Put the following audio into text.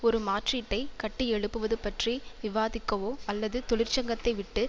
ஒரு மாற்றீட்டை கட்டியெழுப்புவது பற்றி விவாதிக்கவோ அல்லது தொழிற்சங்கத்தைவிட்டு